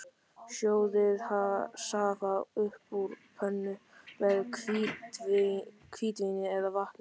Sjóðið safa upp úr pönnu með hvítvíni eða vatni.